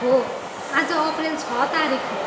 हो, आज अप्रेल छ तारिख हो।